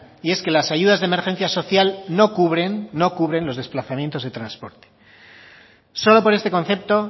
y es que las ayudas de emergencia social no cubren no cubren los desplazamientos de transporte solo por este concepto